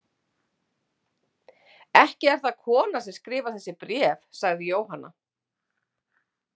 Ekki er það kona sem skrifar þessi bréf, sagði Jóhanna.